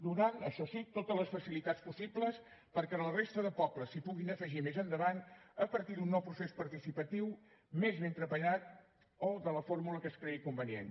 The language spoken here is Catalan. donant això sí totes les facilitats possibles perquè la resta de pobles s’hi puguin afegir més endavant a partir d’un nou procés participatiu més ben treballat o de la fórmula que es cregui convenient